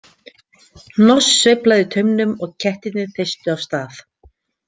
Hnoss sveiflaði taumnum og kettirnir þeystu af stað.